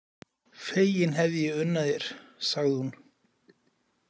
Fegin hefði ég unnað þér, sagði hún.